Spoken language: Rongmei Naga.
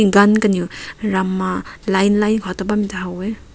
gun kanew ram ma line line kaw tat bam mai ta ha weh.